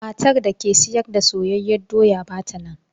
Matar da ke sayar da soyayyen doya ba ta nan.